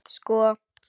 Sko